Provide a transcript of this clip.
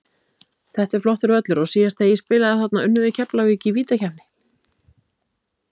Þetta er flottur völlur og síðast þegar ég spilaði þarna unnum við Keflavík í vítakeppni.